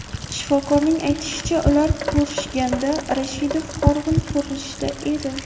Shifokorning aytishicha, ular ko‘rishganda Rashidov horg‘in ko‘rinishda edi.